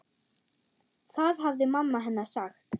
Það hafði mamma hennar sagt.